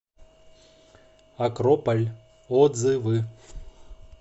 акрополь отзывы